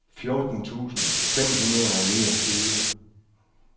fjorten tusind fem hundrede og niogtyve